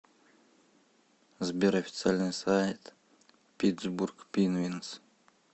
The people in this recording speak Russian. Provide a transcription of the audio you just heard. сбер официальный сайт питтсбург пинвинз